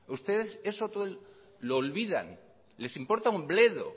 ustedes eso todo lo olvidan les importa un bledo